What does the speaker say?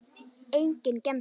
Enginn gemsi.